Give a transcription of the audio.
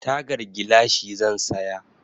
Tagar gilashi zan saya.